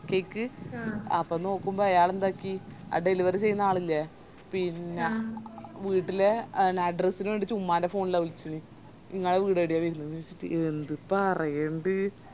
cake അപ്പൊ നോക്കുമ്പോ അയാളെന്താക്കി ആ delivery ചെയ്യുന്ന ആളില്ലേ പിന്നാ വീട്ടിലെ address ന് വേണ്ടിറ്റ് ഉമ്മന്റെ phone ലാ വിളിച്ചത് ഇങ്ങളെ വീടെടെയാ വെരുന്നെന്ന് ചോയിച്ചിറ്റ് എന്ത്‌ പറയണ്ട്